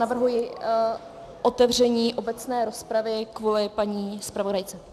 Navrhuji otevření obecné rozpravy kvůli paní zpravodajce.